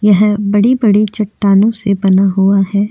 यह बड़ी-बड़ी चट्टानों से बना से बना हुआ है।